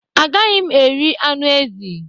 Agaghị m eri anụ ezi.